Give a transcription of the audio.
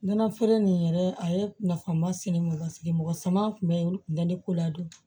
Nɔnɔ feere nin yɛrɛ a ye nafa ma se ne ma mɔgɔ ma se mɔgɔ sama kun bɛ olu kun bɛ ne ko ladon